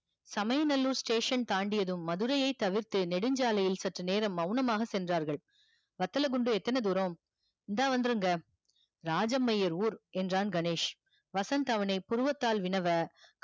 சமய நல்லூர் station தாண்டியதும் மதுரையை தவிர்த்து நெடுஞ்சாலையில் சற்று நேரம் மெளனமாக சென்றார்கல். வத்தல குண்டு எந்தன தூரம் இந்தா வந்துருங்க இராஜமையர் ஊர் என்றான் கணேஷ வசந்த் அவன புருவத்தால் வினவ